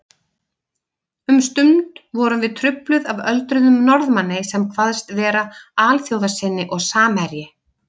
Um stund vorum við trufluð af öldruðum Norðmanni sem kvaðst vera alþjóðasinni og samherji